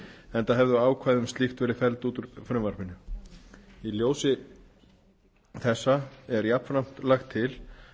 enda hefðu ákvæði um slíkt verið felld út úr frumvarpinu í ljósi þess er jafnframt lagt til